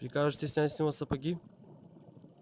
прикажете снять с него сапоги